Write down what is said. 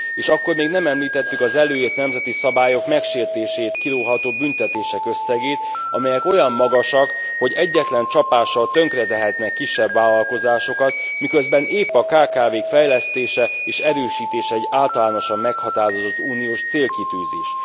És akkor még nem említettük az előírt nemzeti szabályok megsértéséért kiróható büntetések összegét, amelyek olyan magasak, hogy egyetlen csapással tönkretehetnek kisebb vállalkozásokat, miközben épp a kkv k fejlesztése és erősítése az általánosan meghatározott uniós célkitűzés.